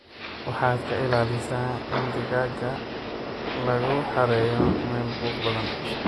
Waxaad ka ilaalisa in digaagga lagu xareeyo meelo buuq badan.